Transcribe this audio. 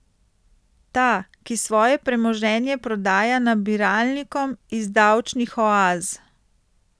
Ta, ki svoje premoženje prodaja nabiralnikom iz davčnih oaz.